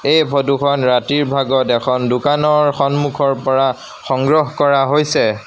এই ফটো খন ৰাতিৰ ভাগত এখন দোকানৰ সন্মুখৰ পৰা সংগ্ৰহ কৰা হৈছে।